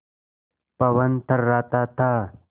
पवन थर्राता था